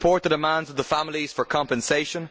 I support the demands of the families for compensation.